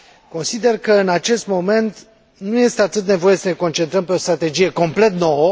Consider că în acest moment nu este atât nevoie să ne concentrăm pe o strategie complet nouă.